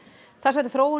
þessari þróun